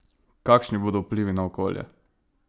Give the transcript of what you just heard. Kakšni bodo vplivi na okolje?